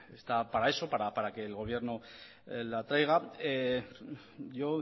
está para eso para que el gobierno la traiga yo